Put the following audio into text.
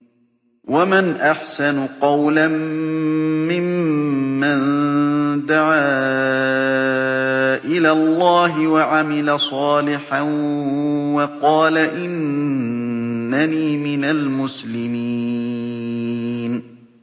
وَمَنْ أَحْسَنُ قَوْلًا مِّمَّن دَعَا إِلَى اللَّهِ وَعَمِلَ صَالِحًا وَقَالَ إِنَّنِي مِنَ الْمُسْلِمِينَ